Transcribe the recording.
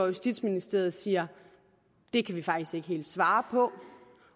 justitsministeriet siger det kan vi faktisk ikke helt svare på